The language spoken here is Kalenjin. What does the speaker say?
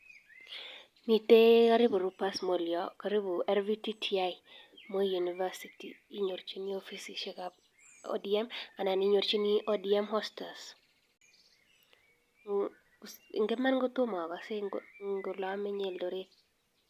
Mitee karibu rupas mall yoo karibu rvtti moi university inyorchinii offisisiek ab odm anan odm osters ingiman kotomakase ngo lameny Eldoret